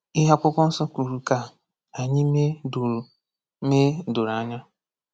Ihe Akwụkwọ Nsọ kwuru ka anyị mee doro mee doro anya.